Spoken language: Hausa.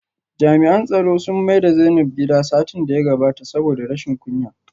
Jami'an tsaro sun maida Zainab gida satin da ya gabata saboda rashin kunya